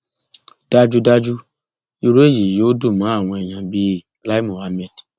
dájúdájú irú èyí yóò dùn mọ àwọn èyàn bíi lai muhammed